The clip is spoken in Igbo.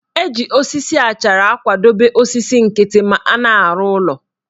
Eji osisi achara akwadobe osisi nkịtị ma a na-arụ ụlọ